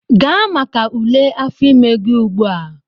Gaa maka ule afọ ime gị ugbu a!